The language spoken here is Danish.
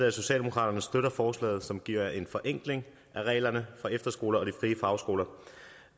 at socialdemokratiet støtter forslaget som giver en forenkling af reglerne for efterskoler og de frie fagskoler